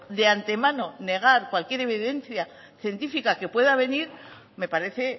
de antemano negar cualquier evidencia científica que pueda venir me parece